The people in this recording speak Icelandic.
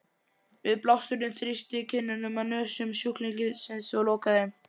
Við blásturinn þrýstist kinnin að nösum sjúklingsins og lokar þeim.